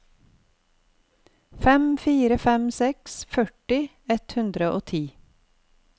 fem fire fem seks førti ett hundre og ti